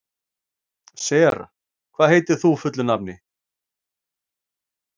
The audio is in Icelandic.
Sera, hvað heitir þú fullu nafni?